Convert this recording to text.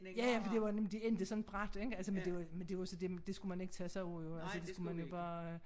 Ja ja fordi det var men de endte sådan brat ik altså men det men det var så dét det skulle man ikke tage sig af altså det skulle man bare